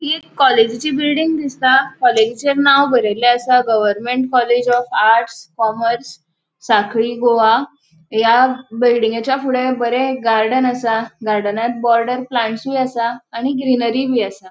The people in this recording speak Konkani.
हि एक कॉलेजीचि बिल्डिंग दिसता कॉलेजीच्ये नाव बरेल्ले आसा government college of arts commerce Sankhali Goa या बिल्डिंगेच्या फुड़े बरे एक गार्डन असा गार्डनात प्लान्ट्सुय आसा आणि ग्रीनरी बी असा.